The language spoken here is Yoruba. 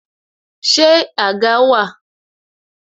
Ṣé àga wà?